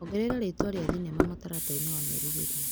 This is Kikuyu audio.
Ongerera rĩtwa rĩa thinema mũtaratara-ini wa merirĩria.